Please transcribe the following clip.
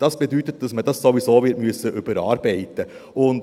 Das bedeutet, dass man das sowieso wird überarbeiten müssen.